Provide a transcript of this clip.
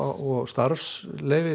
og starfsleyfi